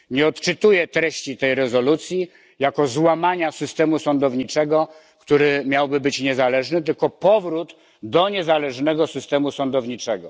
Nie odczytuję treści tej rezolucji jako złamania systemu sądowniczego, który miałby być niezależny, tylko jako powrót do niezależnego systemu sądowniczego.